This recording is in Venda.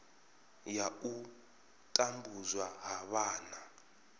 ya u tambudzwa ha vhana